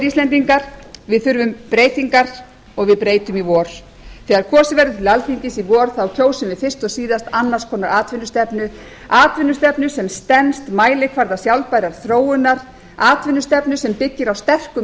íslendingar við þurfum breytingar og við breytum í vor þegar kosið verður til alþingis í vor kjósum við fyrst og síðast annars konar atvinnustefnu atvinnustefnu sem stenst mælikvarða sjálfbærrar þróunar atvinnustefnu sem byggir á sterku